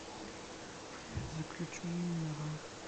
заключенный нарой